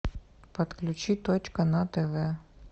подключи точка на тв